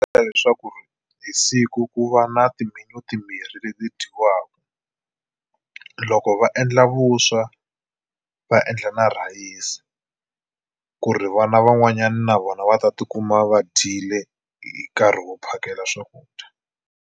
leswaku hi siku ku va na timbirhi leti dyiwaka loko va endla vuswa va endla na rhayisi ku ri vana van'wanyani na vona va ta tikuma va dyile hi nkarhi wo phakela swakudya.